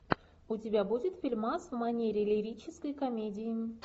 у тебя будет фильмас в манере лирической комедии